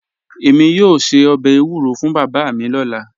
Èmi yoo ṣẹ̀ ọbẹ̀ ewuro fún baba mi lọla